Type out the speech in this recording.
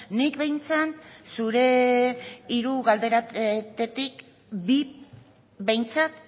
nik behintzat zure hiru galderetatik bi behintzat